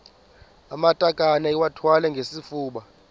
amatakane iwathwale ngesifuba